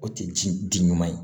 O tɛ ji di ɲuman ye